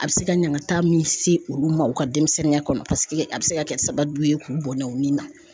A bɛ se ka ɲangata min se olu ma u ka denmisɛnninya kɔnɔ paseke a bɛ se ka kɛ sababu ye k'u bɔnnɔ u ni na.